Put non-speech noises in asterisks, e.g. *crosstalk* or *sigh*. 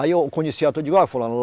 Aí eu conhecia *unintelligible* fulano. *unintelligible*